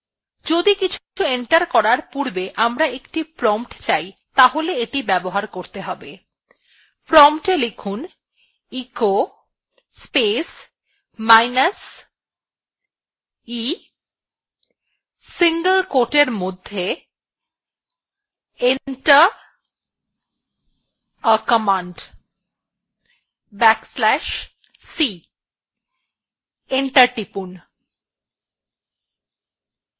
যদি কিছু এন্টার করার পূর্বে আমরা একটি prompt চাই তাহলে এটি ব্যবহার করতে হবে prompta লিখুনecho space minus e single quote এর মধ্যে enter a command back slash c এবং এন্টার টিপুন